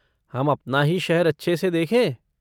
हम अपना ही शहर अच्छे से देखें?